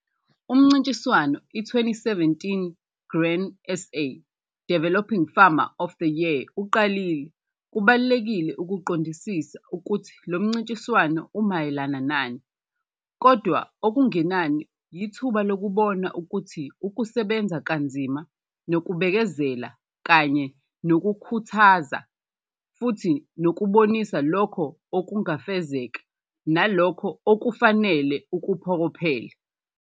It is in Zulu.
Umncintiswano i-2017 Grain SA Developing Farmer of the Year uqalile. Kubalulekile ukuqondisisa ukuthi lo mncintiswano umayelana nani, kodwa okungenani yithuba lokubona ukuthi ukusebenza kanzima nokubekezela kanye nokukhuthaza futhi nokubonisa lokho okungafezeka nalokho okufanele ukuphokophelele.